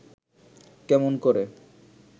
কেমন করে